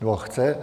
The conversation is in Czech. Nebo chce?